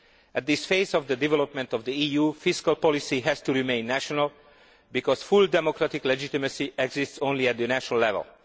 At this stage in the development of the EU, fiscal policy has to remain national because full democratic legitimacy exists only at national level.